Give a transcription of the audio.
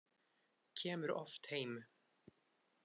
Kemur oft heim.